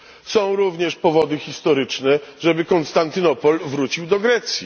Są również powody historyczne, żeby Konstantynopol powrócił do Grecji.